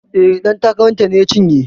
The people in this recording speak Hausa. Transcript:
E, ɗan takara ta ne ya cinye.